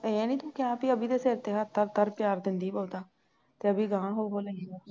ਇਹ ਨਹੀਂ ਤੂੰ ਕਿਹਾ ਬਈ ਅਬੀ ਦੇ ਸਿਰ ਤੇ ਹੱਥ ਧਰ ਧਰ ਪਿਆਰ ਦੇਂਦੀ ਬਹੁਤਾ ਤੇ ਅਬੀ ਗਾਹ ਹੋ ਹੋ ਕੇ ਲਈ ਜਾਵੇ